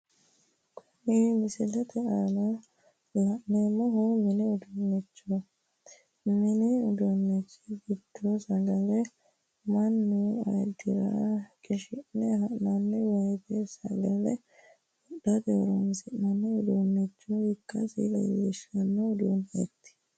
Kunni misilete aanna la'neemohu mini uduunichooti minni uduunichi gidono sagale manni ayidira qishi'ne ha'nanni woyite sagale wodhate horoonsi'nanni uduunicho ikasi leelishano uduunichoti.